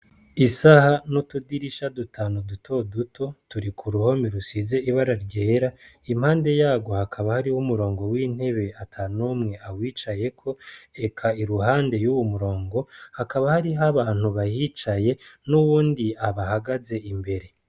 Isaha n'utudirisha dutanu dutoduto turi k'uruhome rusize ibara ryera iruhande yarwo hakaba hari umurongo w'intebe atanumwe awicayeko eka iruhande yuwomurongo hakaba harih'abantu bahicaye n'uwundi abahagaze imbere.